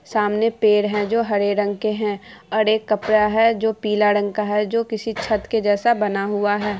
सामने पेड़ है जो हरे रंग के है। और एक कपड़ा है जो पीले रंग का है जो किसी छत के जैसा बना हुआ है ।